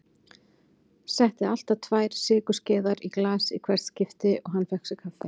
Setti alltaf tvær sykurskeiðar í glas í hvert skipti og hann fékk sér kaffi.